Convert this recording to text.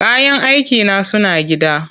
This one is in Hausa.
Kayan aikina suna gida.